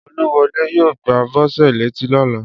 Olúwọlé yóò gbá Bọ́sẹ̀ létí lóla